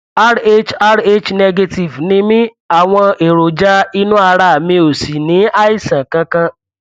rh rh negative ni mí àwọn èròjà inú ara mi ò sì ní àìsàn kankan